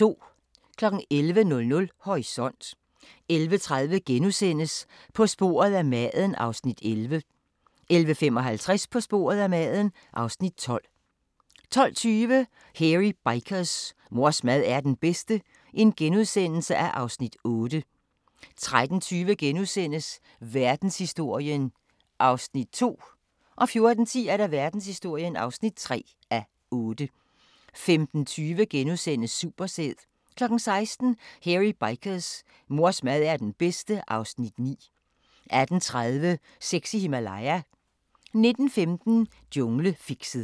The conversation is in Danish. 11:00: Horisont 11:30: På sporet af maden (Afs. 11)* 11:55: På sporet af maden (Afs. 12) 12:20: Hairy Bikers: Mors mad er den bedste (Afs. 8)* 13:20: Verdenshistorien (2:8)* 14:10: Verdenshistorien (3:8) 15:20: Supersæd * 16:00: Hairy Bikers: Mors mad er den bedste (Afs. 9) 18:30: Sex i Himalaya 19:15: Junglefixet